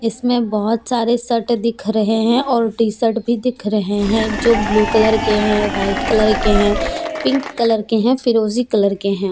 इसमें बहुत सारे शर्ट दिख रहे हैं और टी शर्ट भी दिख रहे हैं जो ब्लू कलर के हैं व्हाइट कलर के हैं पिंक कलर के हैं फिरोजी कलर के हैं।